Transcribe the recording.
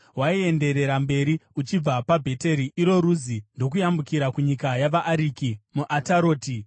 Waienderera mberi uchibva paBheteri (iro Ruzi), ndokuyambukira kunyika yavaAriki muAtaroti,